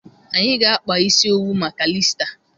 Anyị ga-akpa isi owu maka Iista